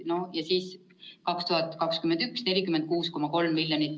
No ja siis 2021 on 46,3 miljonit.